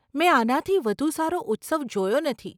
મેં આનાથી વધુ સારો ઉત્સવ જોયો નથી.